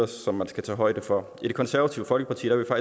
som man skal tage højde for i det konservative folkeparti vil